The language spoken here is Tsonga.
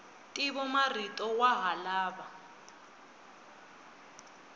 ntivomarito wa ha lava